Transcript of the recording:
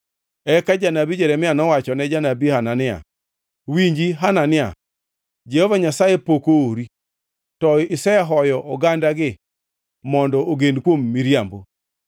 Eka janabi Jeremia nowachone janabi Hanania, “Winji Hanania! Jehova Nyasaye pok oori, to isehoyo ogandagi mondo ogen kuom miriambo.